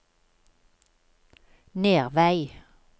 Nervei